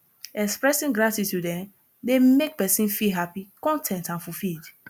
expressing gratitude um dey make pesin feel happy con ten t and fulfilled